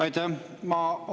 Aitäh!